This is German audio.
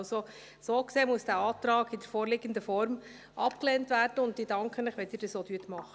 Also, so gesehen muss dieser Antrag in der vorliegenden Form abgelehnt werden, und ich danke Ihnen, wenn Sie dies auch tun.